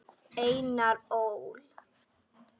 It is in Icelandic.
Einar Ól.